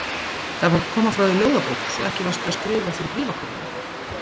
Það var að koma frá þér ljóðabók, svo ekki varstu bara að skrifa fyrir bréfakörfuna.